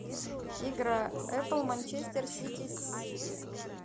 игра апл манчестер сити с сити